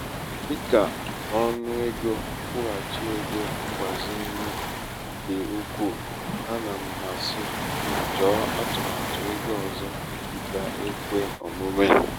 dị ka ọnụ égo nkwụghachi égo mgbazinye dị ukwuu ana m asị gị chọọ atụmatụ égo ọzọ ga-ekwe omume.